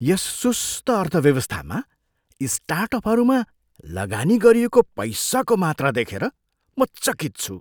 यस सुस्त अर्थव्यवस्थामा स्टार्टअपहरूमा लगानी गरिएको पैसाको मात्रा देखेर म चकित छु।